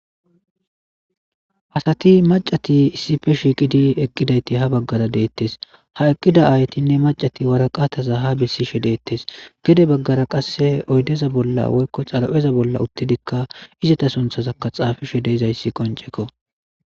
asati macati issipe shiiqidi eqqidayti ha baggara deettes ha eqqida aaytinne macati waraqataza ha bissishe deettes gede baggara qasse oydeza bolla woykko xarapeza bolla uttidikka izata sunthazakka xaafishe deezayssi qoncekko